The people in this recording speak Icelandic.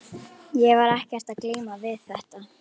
Ég var ekkert að glíma við þetta.